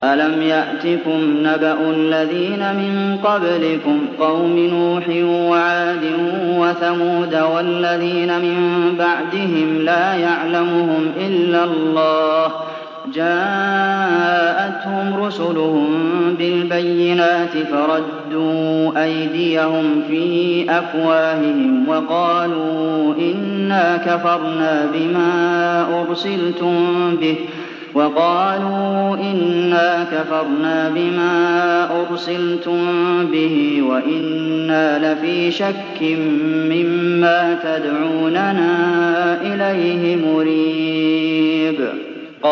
أَلَمْ يَأْتِكُمْ نَبَأُ الَّذِينَ مِن قَبْلِكُمْ قَوْمِ نُوحٍ وَعَادٍ وَثَمُودَ ۛ وَالَّذِينَ مِن بَعْدِهِمْ ۛ لَا يَعْلَمُهُمْ إِلَّا اللَّهُ ۚ جَاءَتْهُمْ رُسُلُهُم بِالْبَيِّنَاتِ فَرَدُّوا أَيْدِيَهُمْ فِي أَفْوَاهِهِمْ وَقَالُوا إِنَّا كَفَرْنَا بِمَا أُرْسِلْتُم بِهِ وَإِنَّا لَفِي شَكٍّ مِّمَّا تَدْعُونَنَا إِلَيْهِ مُرِيبٍ